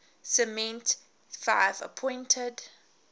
clement xii appointed